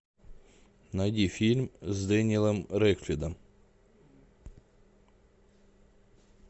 найди фильм с дэниелом рэдклиффом